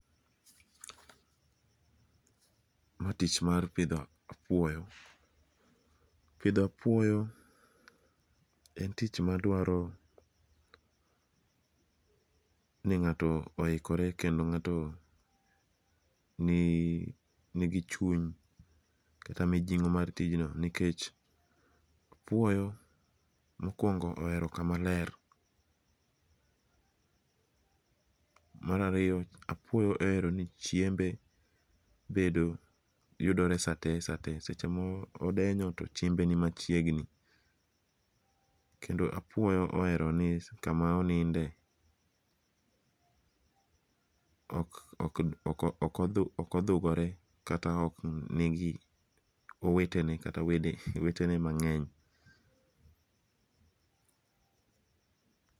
Ma tich mar pidho apuoyo. Pidho apuoyo en tich madwaro ni ng'ato oikore kendo ng'ato nigi chuny kata mijing'o mar tijno nikech apuoyo mokwongo ohero kamaler. Mar ariyo, apuoyo ohero ni chiembe yudore sa te sa te. Seche modenyo to chiembe ni machiegni. Kendo apuoyo ohero ni kama oninde ok odhugore kata ok nigi wedene mang'eny.